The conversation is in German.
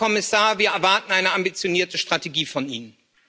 Herr Kommissar, wir erwarten eine ambitionierte Strategie von Ihnen.